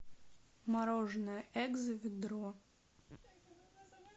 мороженое экзо ведро